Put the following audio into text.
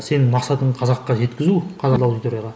сенің мақсатың қазаққа жеткізу қазақ аудиторияға